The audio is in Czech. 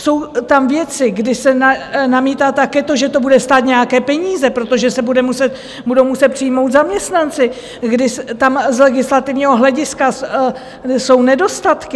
Jsou tam věci, kdy se namítá také to, že to bude stát nějaké peníze, protože se budou muset přijmout zaměstnanci, kdy tam z legislativního hlediska jsou nedostatky.